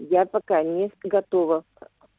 я пока не готова